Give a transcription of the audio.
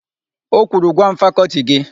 O kwuru, "gwa m fakọltị gị!